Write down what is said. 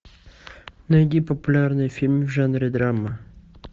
найди популярный фильм в жанре драма